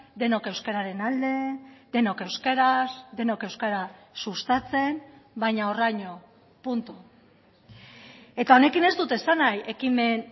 denok euskararen alde denok euskaraz denok euskara sustatzen baina horraino punto eta honekin ez dut esan nahi ekimen